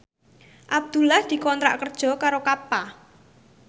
Abdullah dikontrak kerja karo Kappa